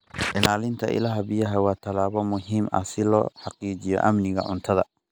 Ilaalinta ilaha biyaha waa tallaabo muhiim ah si loo xaqiijiyo amniga cuntada.